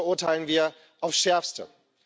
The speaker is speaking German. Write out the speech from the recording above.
Das verurteilen wir aufs Schärfste.